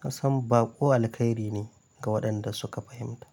Kasan baƙo alkairi ne ga waɗanda suka fahimta.